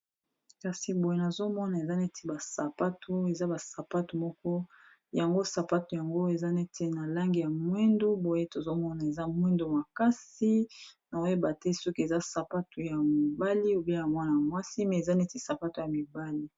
Kasi boye nozomona eza neti ba sapatu eza ba sapato moko yango sapato yango eza neti na langi ya mwindu, boye tozomona eza mwindo makasi na oyeba te soki eza sapato ya mibali obeya mwana y mwasi me eza neti sapato ya mibali.